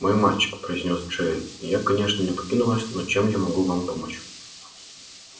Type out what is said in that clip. мой мальчик произнёс джаэль я конечно не покину вас но чем я могу вам помочь